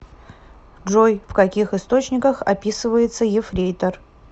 джой в каких источниках описывается ефрейтор